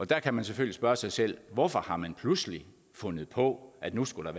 der kan man selvfølgelig spørge sig selv hvorfor har man pludselig fundet på at nu skulle